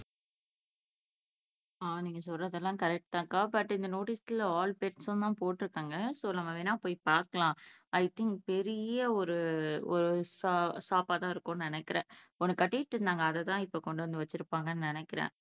ஆஹ் நீங்க சொல்றதெல்லாம் கரெக்ட்தாங்கா பட் இந்த நோட்டீஸ்ல ஆல் பெட்ஸ்ன்னு தான் போட்ருக்காங்க சோ, நம்ம வேண்ணா போய் பாக்கலாம் ஐ திங்க் பெரிய ஒரு ஒரு ஷாப் ஆதான் இருக்கும்னு நினைக்கிறேன்